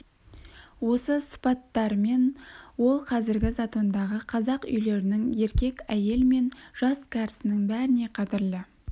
осы сыпаттарымен ол қазір затондағы қазақ үйлерінің еркек әйел мен жас кәрісінің бәріне қадірлі